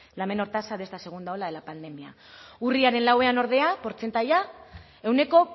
la menor tasa de esta segunda oleada de la pandemia urriaren lauan ordea portzentaia ehuneko